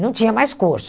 Não tinha mais corso.